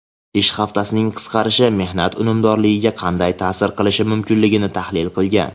ish haftasining qisqarishi mehnat unumdorligiga qanday ta’sir qilishi mumkinligi tahlil qilingan.